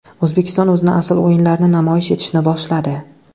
O‘zbekiston o‘zining asl o‘yinlarini namoyish etishni boshladi.